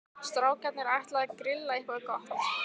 Strákarnir ætla að grilla eitthvað gott.